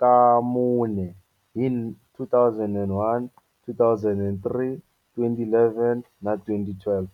ka mune, hi 2001, 2003, 2011 na 2012.